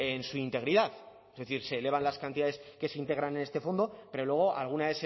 en su integridad es decir se elevan las cantidades que se integran en este fondo pero luego alguna